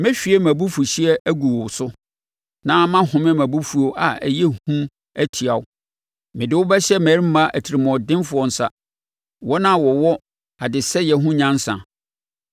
Mɛhwie mʼabufuhyeɛ agu wo so na mahome mʼabufuo a ɛyɛ hu atia wo; Mede wo bɛhyɛ mmarima atirimuɔdenfoɔ nsa, wɔn a wɔwɔ adesɛeɛ ho nyansa.